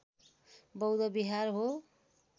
बौद्ध विहार हो